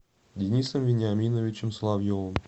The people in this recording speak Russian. денисом вениаминовичем соловьевым